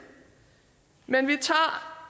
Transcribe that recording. men vi tager